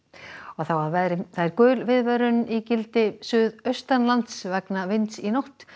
þá að veðri gul viðvörun í gildi suðaustanlands vegna vinds í nótt